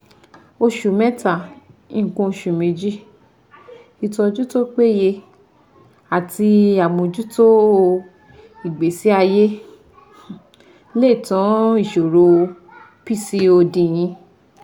oṣù méta, nǹkan oṣù méjì ìtọ́jú tó péye àti àmọ́jútó ìgbésí ayé lè tá ìṣòro PCOD yín